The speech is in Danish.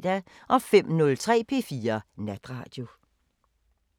05:03: P4 Natradio